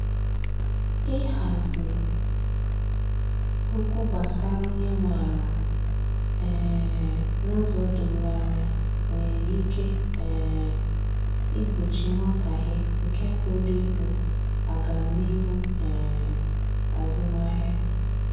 Ihazi okwu gbasara onye nwe ala um n'ụzọ doro anya nwere ike um igbochi nghọtahie nke pụrụ igbu agamnihu um azụmahịa.